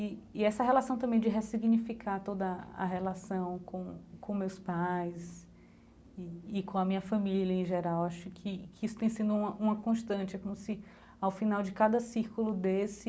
E e essa relação também de ressignificar toda a a relação com com meus pais e e com a minha família em geral, acho que que isso tem sido uma uma constante, é como se, ao final de cada círculo desse,